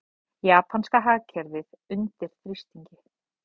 Japanska hagkerfið undir þrýstingi